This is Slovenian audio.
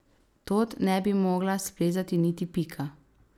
Tod ne bi mogla splezati niti Pika.